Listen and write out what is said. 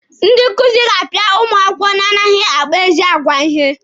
Ndị nkuzi ga-apịa ụmụ akwụkwọ na-anaghị akpa ezi agwa ihe.